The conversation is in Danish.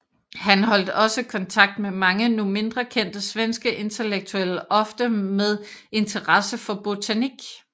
Han holdt også kontakt med mange nu mindre kendte svenske intellektuelle ofte med interesse for botanik